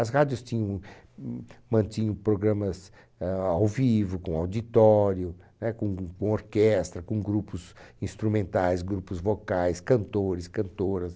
As rádios tinham, mantinham programas ãh ao vivo, com auditório né, com orquestra, com grupos instrumentais, grupos vocais, cantores, cantoras.